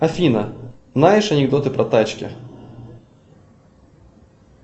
афина знаешь анекдоты про тачки